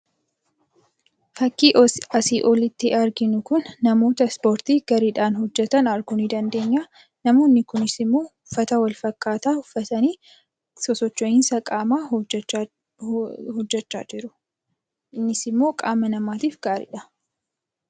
Fakkiin asii olitti arginu kun namoota Ispoortii gareedhaan hojjetan arguu ni dandeenya. Namoonni kunisimmoo ufata wal fakkaataa uffatanii sosocho'insa qaamaa hojjechaa jiru. Innis immoo qaama namaatiif gaariidha.